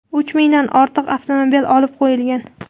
Uch mingdan ortiq avtomobil olib qo‘yilgan.